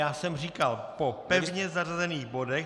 Já jsem říkal po pevně zařazených bodech.